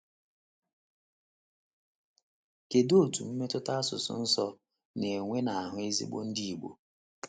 Kedu etu mmetụta asusụ nsọ na - enwe n’ahụ́ ezigbo Ndị Igbo?